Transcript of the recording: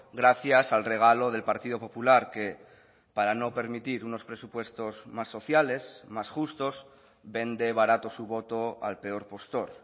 gracias al regalo del partido popular que para no permitir unos presupuestos más sociales más justos vende barato su voto al peor postor